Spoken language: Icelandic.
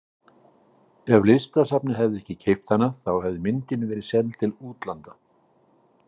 Ef Listasafnið hefði ekki keypt hana þá hefði myndin verið seld til útlanda.